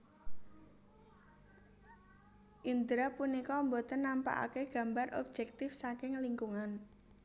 Indra punika boten nampakake gambar objektif saking lingkungan